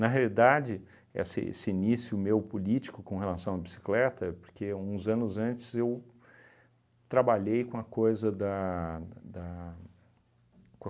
realidade, essa esse início meu político com relação à bicicleta é porque, uns anos antes, eu trabalhei com a coisa da da da com a